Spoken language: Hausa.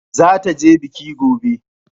Zata je biki gobe